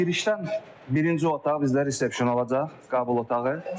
Girişdən birinci otaq bizdə resepsiyon olacaq, qəbul otağı.